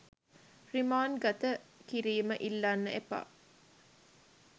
රිමාන්ඩ්ගත කිරීම ඉල්ලන්න එපා.